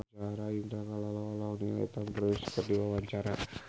Indah Kalalo olohok ningali Tom Cruise keur diwawancara